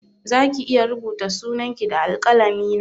Zaki iya rubuta sunan ki da alƙalami na?